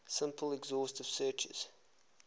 simple exhaustive searches